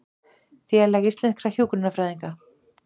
Félag íslenskra hjúkrunarfræðinga